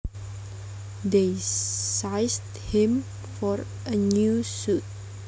They sized him for a new suit